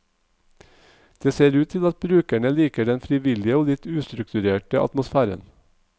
Det ser ut til at brukerne liker den frivillige og litt ustrukturerte atmosfæren.